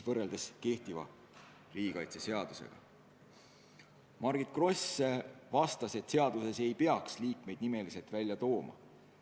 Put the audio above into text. Margit Gross vastas, et seaduses ei peaks konkreetseid liikmeid välja tooma.